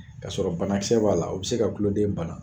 K'a sɔrɔ banakisɛ b'a la , o bɛ se ka tuloden bana.